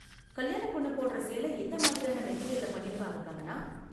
கல்யாண பொண்ணு போடுற சேலை எந்த மாதிரியான மெட்டீரியல்ல பண்ணிருப்பாங்க, கங்கனா?